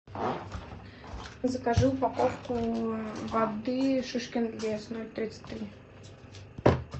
закажи упаковку воды шишкин лес ноль тридцать три